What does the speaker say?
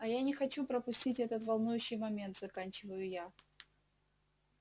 а я не хочу пропустить этот волнующий момент заканчиваю я